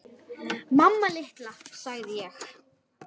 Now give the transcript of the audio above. Mamma litla, sagði ég.